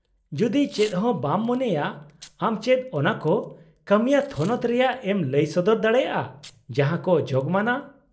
- ᱡᱩᱫᱤ ᱪᱮᱫᱦᱚᱸ ᱵᱟᱢ ᱢᱚᱱᱮᱭᱟ, ᱟᱢ ᱪᱮᱫ ᱚᱱᱟᱠᱚ ᱠᱟᱹᱢᱤᱭᱟᱹ ᱛᱷᱚᱱᱚᱛ ᱨᱮᱭᱟᱜ ᱮᱢ ᱞᱟᱹᱭ ᱥᱚᱫᱚᱨ ᱫᱟᱲᱮᱭᱟᱜᱼᱟ ᱡᱟᱦᱟᱸᱠᱚ ᱡᱳᱜᱢᱟᱱᱟ ?